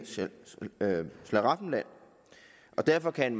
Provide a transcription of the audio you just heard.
slaraffenland derfor kan